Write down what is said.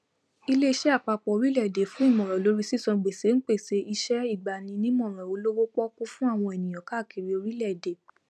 iléiṣẹ àpapọ orílẹèdè fún ìmòràn lórí sísan gbèsè ń pèsè iṣẹìgbanímọràn olówópọọkú fún àwọn ènìyàn káàkiri orílẹèdè